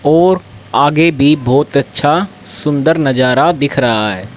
और आगे भी बहोत अच्छा सुन्दर नजारा दिख रहा है।